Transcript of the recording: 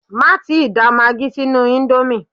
Má tíì da magí sínú íńdómì!